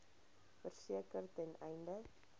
verseker ten einde